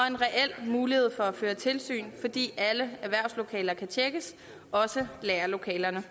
en reel mulighed for at føre tilsyn fordi alle erhvervslokaler kan tjekkes også lagerlokalerne